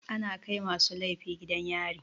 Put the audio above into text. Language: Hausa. Ana kai masu laifi gidan yari.